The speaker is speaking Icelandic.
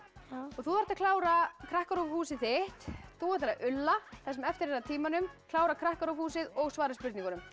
þú þarft að klára KrakkaRÚV húsið þitt þú ætlar að ulla það sem eftir er af tímanum klára KrakkaRÚV húsið og svara spurningunum